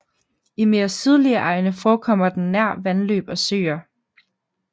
I mere sydlige egne forekommer den nær vandløb og søer